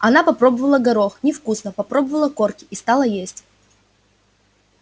она попробовала горох невкусно попробовала корки и стала есть